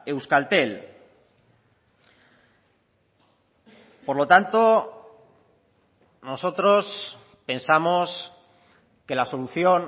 euskaltel por lo tanto nosotros pensamos que la solución